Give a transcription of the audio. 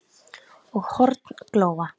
og horn glóa